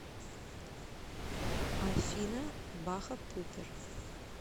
афина баха пупер